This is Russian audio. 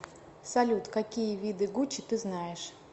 салют какие виды гуччи ты знаешь